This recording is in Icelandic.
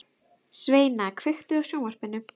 Sveina, kveiktu á sjónvarpinu.